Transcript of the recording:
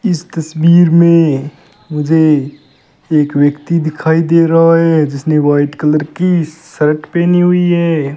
इस तस्वीर में मुझे एक व्यक्ति दिखाई दे रहा है जिसने व्हाइट कलर की शर्ट पहनी हुई है।